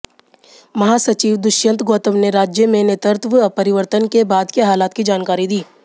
महासचिव दुष्यंत गौतम ने राज्य में नेतृत्व परिवर्तन के बाद के हालात की जानकारी दी